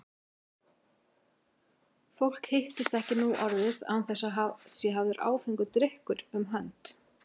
Fólk hittist ekki nú orðið án þess að það sé hafður áfengur drykkur um hönd.